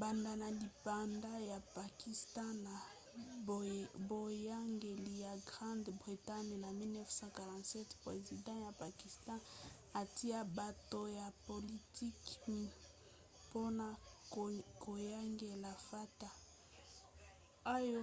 banda na lipanda ya pakistan na boyangeli ya grande bretagne na 1947 president ya pakistan atia bato ya politiki mpona koyangela fata oyo